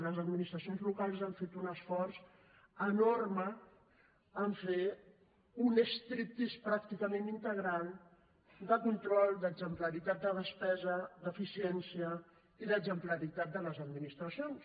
les administracions locals han fet un esforç enorme en fer un striptease pràcticament integral de control d’exemplaritat de despesa d’eficiència i d’exemplaritat de les administracions